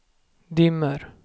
dimmer